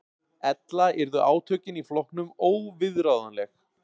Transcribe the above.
Ella yrðu átökin í flokknum óviðráðanleg